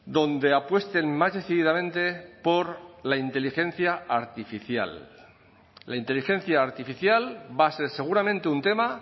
donde apuesten más decididamente por la inteligencia artificial la inteligencia artificial va a ser seguramente un tema